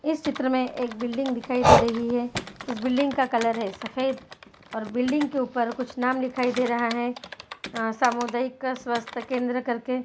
इस चित्र में एक बिल्डिंग दिखाई दे रही है उस बिल्डिंग का कलर है सफेद और बिल्डिंग के ऊपर कुछ नाम दिखाई दे रहा है समुदयिक स्वस्त केंद्र करके----